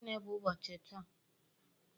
Gịnị bụ ụbọchị taa?